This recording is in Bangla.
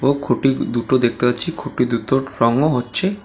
দুটো খুঁটি দুটো দেখতে পাচ্ছি খুঁটি দুতো রঙও হচ্ছে।